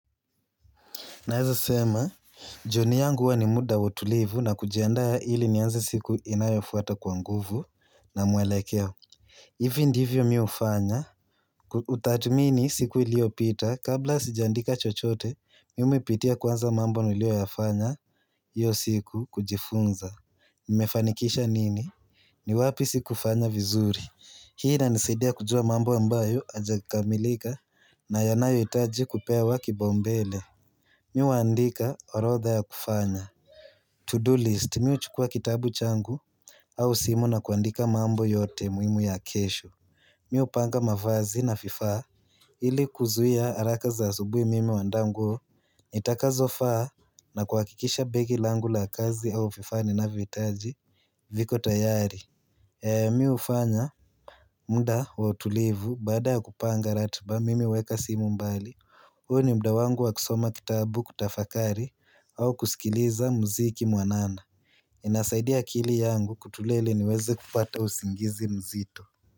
Naeza sema, jioni yangu huwa ni muda wautulivu na kujendaa hili nianze siku inayofuata kwa nguvu na mwelekeo. Hivi ndivyo mi ufanya, utatumini siku ilio pita kabla sijaandika chochote, mi umipitia kwanza mambo nilio yafanya hiyo siku kujifunza. Nimefanikisha nini? Ni wapi siku fanya vizuri. Hii ina nisaidia kujua mambo ambayo haijakamilika na yanayo itaji kupewa kipaumbele. Miwa andika orotha ya kufanya To-do list miwa chukua kitabu changu au simu na kuandika mambo yote muimu ya kesho Miupanga mavazi na vifaa ili kuzuia haraka za asubui mimi uandaa nguo nitakazofaa na kuakikisha begi langu la kazi au vifaa ni navyoitaji viko tayari miu fanya muda wa utulivu baada ya kupanga ratba mimi uweka simu mbali huo ni mda wangu wa kusoma kitabu kutafakari au kusikiliza mziki mwanana inasaidia akili yangu kutulia niweze kupata usingizi mzito.